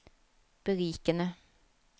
berikende